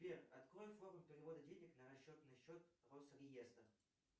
сбер открой форму перевода денег на расчетный счет росреестра